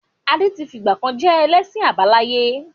Adé tí fìgbàkan je ẹlẹ́sìn àbáláyé.